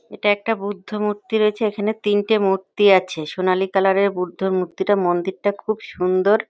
এটা একটা বুদ্ধ মূর্তি রয়েছে। এখানে তিনটি মূর্তি আছে। সোনালি কালারের বুদ্ধ মূর্তিটা। মন্দির টা খুব সুন্দর।